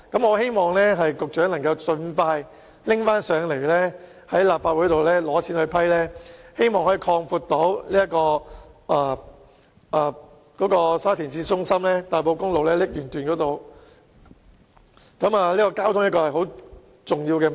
我希望局長能盡快再向立法會申請撥款，用以擴闊沙田市中心和大埔公路瀝源段，因為交通的確很重要。